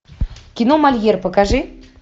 кино мольер покажи